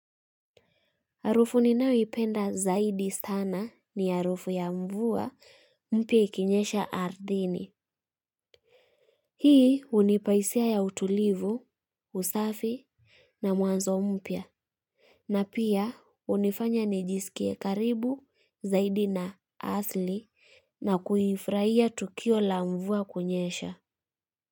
Harufu ninayoipenda zaidi sana ni harufu ya mvua mpya ikinyesha ardhini. Hii hunipa hisia ya utulivu, usafi na mwanzo mpya. Na pia hunifanya nijisikie karibu zaidi na asili na kuifurahia tukio la mvua kunyesha. Kwa hivyo.